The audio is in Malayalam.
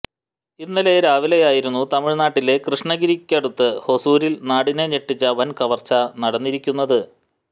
ഇന്നലെ രാവിലെയായിരുന്നു തമിഴ്നാട്ടിലെ കൃഷ്ണഗിരിക്കടുത്ത് ഹൊസൂരിൽ നാടിനെ ഞെട്ടിച്ച വൻ കവർച്ച നടന്നിരിക്കുന്നത്